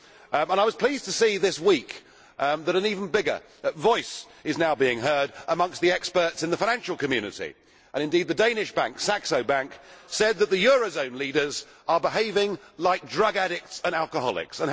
But I was pleased to see this week that an even bigger voice is now being heard amongst the experts in the financial community. The Danish Bank Saxo Bank said that the euro zone leaders are behaving like drug addicts and alcoholics.